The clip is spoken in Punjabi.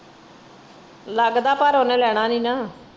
ਲਗਦਾ ਪਰ ਓਹਨੇ ਲੈਣਾ ਨਹੀਂ ਨਾ।